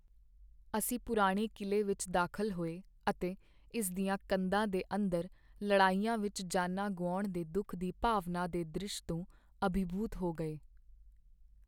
ਅਸੀਂ ਪੁਰਾਣੇ ਕਿਲ੍ਹੇ ਵਿੱਚ ਦਾਖ਼ਲ ਹੋਏ ਅਤੇ ਇਸ ਦੀਆਂ ਕੰਧਾਂ ਦੇ ਅੰਦਰ ਲੜਾਈਆਂ ਵਿੱਚ ਜਾਨਾਂ ਗੁਆਉਣ ਦੇ ਦੁੱਖ ਦੀ ਭਾਵਨਾ ਦੇ ਦ੍ਰਿਸ਼ ਤੋਂ ਅਭਿਭੂਤ ਹੋ ਗਏ।